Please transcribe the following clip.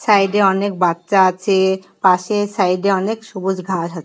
সাইডে অনেক বাচ্চা আছে পাশে সাইডে অনেক সবুজ ঘাস আছে ।